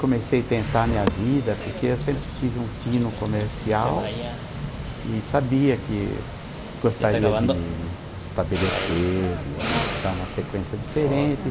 comecei a tentar a minha vida, porque eu sempre tive um tino comercial e sabia que gostaria de me estabelecer, de dar uma sequência diferente.